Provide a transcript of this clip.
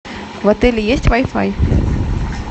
в отеле есть вай фай